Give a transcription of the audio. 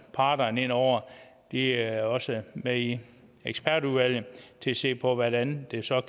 parterne ind over de er også med i ekspertudvalget til at se på hvordan det så